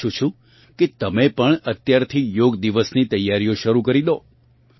હું ઇચ્છું છું કે તમે પણ અત્યારથી યોગ દિવસ ની તૈયારિયો શરૂ કરી દો